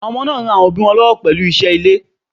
Àwọn ọmọ ń ra àwọn òbí wọn lọ́wọ́ pẹ̀lú iṣẹ́ ilé.